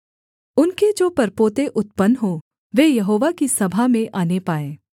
उनके जो परपोते उत्पन्न हों वे यहोवा की सभा में आने पाएँ